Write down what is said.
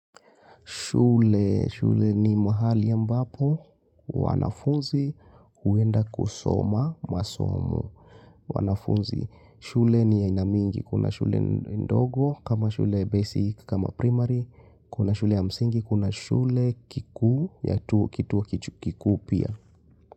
Shule, shule ni mahali ambapo, wanafunzi, uenda kusoma, masomo, wanafunzi. Shule ni aina mingi, kuna shule ndogo, kama shule basic, kama primary, kuna shule msingi, kuna shule kikuu, kituo kiku pia.